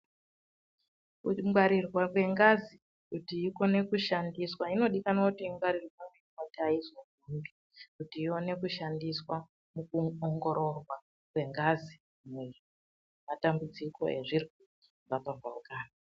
Kungwarirwa kwengazi kuti ikone kushandiswa inodikanwa kuti ingwarirwe .........kuti ione kushandiswa mukuongororwa kwengazi nematambudziko ezvirwere zvakapambauka.